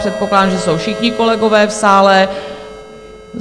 Předpokládám, že jsou všichni kolegové v sále.